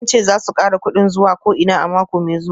Sun ce za su kara kudin zuwa ko'ina a mako mai zuwa